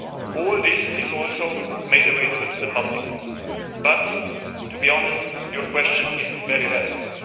All this is also made available to the public. But, to be honest, your question is very relevant.